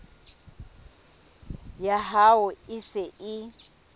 ya hao e se e